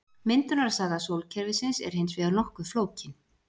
myndunarsaga sólkerfisins er hins vegar nokkuð flókin